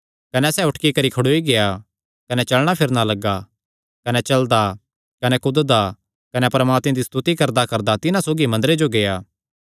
कने सैह़ उटकी करी खड़ोई गेआ कने चलणा फिरणा लग्गा कने चलदा कने कूददा कने परमात्मे दी स्तुति करदाकरदा तिन्हां सौगी मंदरे जो गेआ